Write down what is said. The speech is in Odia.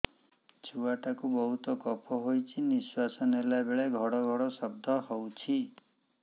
ଛୁଆ ଟା କୁ ବହୁତ କଫ ହୋଇଛି ନିଶ୍ୱାସ ନେଲା ବେଳେ ଘଡ ଘଡ ଶବ୍ଦ ହଉଛି